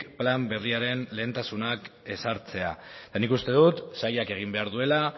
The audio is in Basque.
plan berriaren lehentasunak ezartzea eta nik uste dut sailak egin behar duela